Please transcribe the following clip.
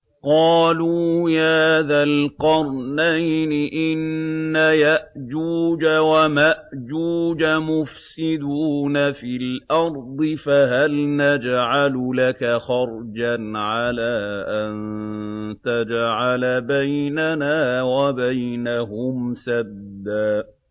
قَالُوا يَا ذَا الْقَرْنَيْنِ إِنَّ يَأْجُوجَ وَمَأْجُوجَ مُفْسِدُونَ فِي الْأَرْضِ فَهَلْ نَجْعَلُ لَكَ خَرْجًا عَلَىٰ أَن تَجْعَلَ بَيْنَنَا وَبَيْنَهُمْ سَدًّا